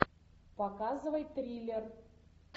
показывай триллер